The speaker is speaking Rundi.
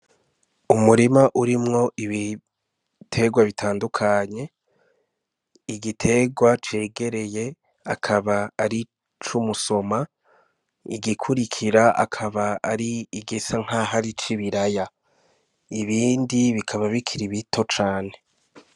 Umurima urimwo ibitegwa bitandukanye igitegwa cegereye akaba ari icumusoma igikurikira akaba ari igisa nkaho ari ico ibiraya ibindi bikaba bikiri bito cane.